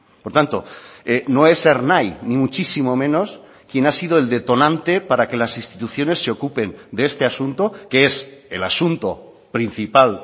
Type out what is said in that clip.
por tanto no es ernai ni muchísimo menos quien ha sido el detonante para que las instituciones se ocupen de este asunto que es el asunto principal